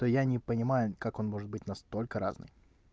то я не понимаю как он может быть настолько разный